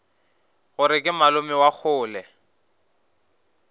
gore ke malome wa kgole